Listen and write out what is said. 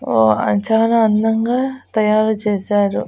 ఉ ఆ చాలా అందంగా తయారు చేశారు.